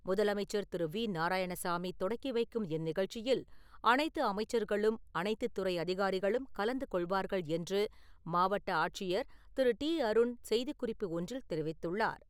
முதலமைச்சர் திரு. வி. நாராயணசாமி, தொடக்கி வைக்கும் இந்நிகழ்ச்சியில் அனைத்து அமைச்சர்களும், அனைத்து துறை அதிகாரிகளும் கலந்து கொள்வார்கள் என்று மாவட்ட ஆட்சியர் திரு. டி. அருண் செய்திக் குறிப்பு ஒன்றில் தெரிவித்துள்ளார்.